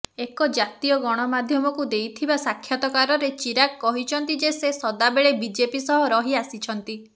ଏକ ଜାତୀୟ ଗଣମାଧ୍ୟମକୁ ଦେଇଥିବା ସାକ୍ଷାତକାରରେ ଚିରାଗ କହିଛନ୍ତି ଯେ ସେ ସଦାବେଳେ ବିଜେପି ସହ ରହି ଆସିଛନ୍ତି